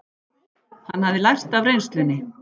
Hann hafði lært af reynslunni.